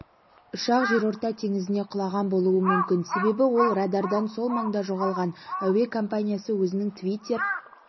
ұшақ жерорта теңізіне құлаған болуы мүмкін себебі ол радардан сол маңда жоғалған әуе компаниясы өзінің твиттер